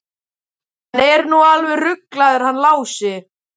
Hann er nú alveg ruglaður hann Lási.